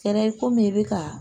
Kɛra i komi i bɛ ka